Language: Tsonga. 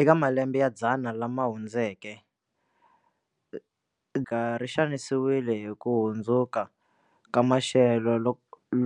Eka malembe ya dzana lama hundzeke, ri xanisiwile hi ku hundzuka ka maxelo